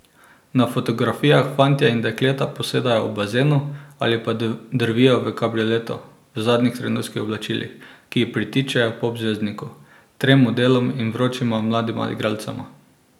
Na fotografijah fantje in dekleta posedajo ob bazenu ali pa drvijo v kabrioletu v zadnjih trendovskih oblačilih, ki pritičejo pop zvezdniku, trem modelom in vročima mladima igralcema.